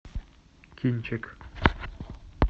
кинчик